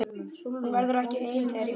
Hún verður ekki ein þegar ég útskrifast.